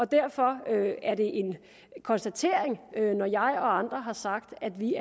derfor er det en konstatering når jeg og andre har sagt at vi